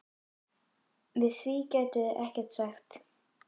Við því gætu þau ekkert sagt.